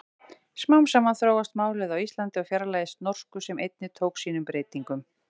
Smám saman þróast málið á Íslandi og fjarlægist norsku sem einnig tók sínum breytingum.